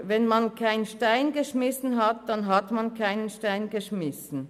Wenn man keinen Stein geworfen hat, dann hat man keinen Stein geworfen.